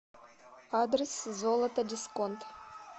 адрес золото дисконт